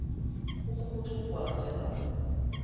go homotšwe go kwala fela